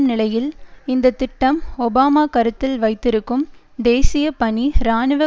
நிலையில் இந்தத்திட்டம் ஒபாமா கருத்தில் வைத்திருக்கும் தேசிய பணி இராணுவ